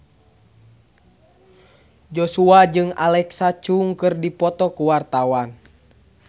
Joshua jeung Alexa Chung keur dipoto ku wartawan